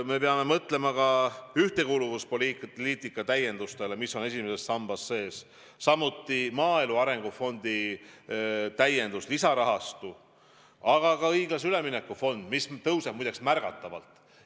Me peame mõtlema ka ühtekuuluvuspoliitika täiendustele, mis on esimeses sambas sees, samuti maaelu arengu fondi täiendusele, lisarahastule, aga ka õiglase ülemineku fondile, mis muide märgatavalt kasvab.